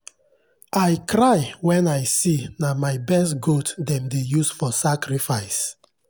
some sacrifice dem go put animal ear for special stone wey get spirit power.